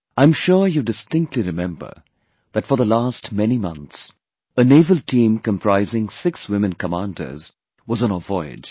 I am sure you distinctly remember that for the last many months, a naval team comprising six women Commanders was on a voyage